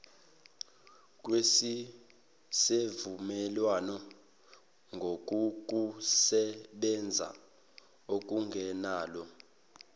kwesivumelwano ngokokusebenza okungenalo